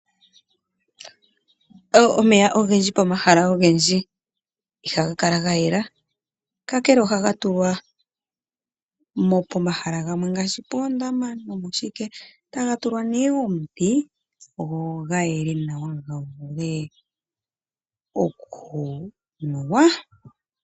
Omeya ogendji pomahala ogendji ihaga kala ga yela, kakele ohaga tulwa pomahala gamwe ngaashi poondama taga tulwa nee omiti go ga yele nawa ga vule okunuwa.